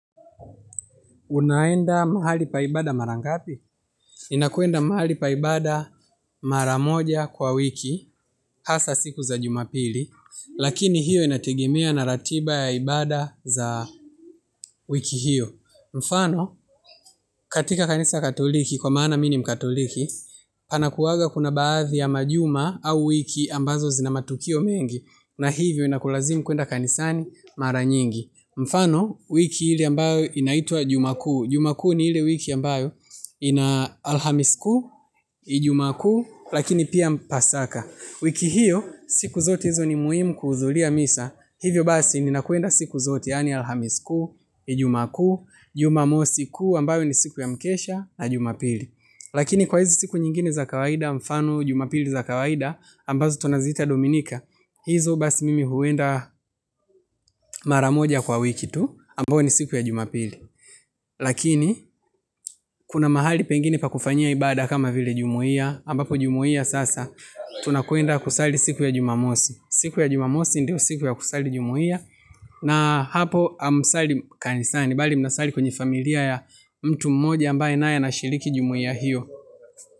Unaenda mahali paibada marangapi? Inakuenda mahali paibada maramoja kwa wiki, hasa siku za jumapili, lakini hiyo inatigimia na ratiba ya ibada za wiki hiyo. Mfano, katika kanisa katoliki, kwa mana mini mkatoliki, pana kuwaga kuna baadhi ya majuma au wiki ambazo zina matukio mengi, na hivyo inakulazimu kuenda kanisani maranyingi. Mfano wiki hili ambayo inaitwa juma kuu. Jumakuu ni hile wiki ambayo ina alhamis kuu, ijumaa kuu lakini pia mpasaka. Wiki hiyo siku zote hizo ni muhimu kuhudhuria misa. Hivyo basi ni nakuenda siku zote yani alhamiskuu ijumaku, jumamosiku ambayo ni siku ya mkesha na jumapili. Lakini kwa hizi siku nyingine za kawaida mfano jumapili za kawaida ambazo tunazita dominika. Hizo basi mimi huenda maramoja kwa wiki tu ambayo ni siku ya jumapili lakini kuna mahali pengine pa kufanyia ibada kama vile jumuia ambapo jumuiya sasa tunaenda kusali siku ya jumamosi siku ya jumamosi ndo siku ambayo ya kusali jumuiya na hapo amusali kanisani. Bali mnasali kwenye familia ya mtu mmoja ambaye naye anashiriki jumuia hiyo.